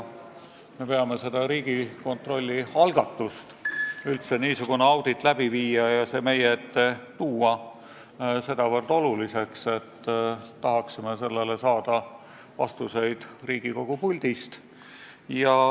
Me peame Riigikontrolli algatust üldse niisugune audit läbi viia ja see meie ette tuua nii oluliseks, et tahaksime sellest ülevaadet saada Riigikogu puldist.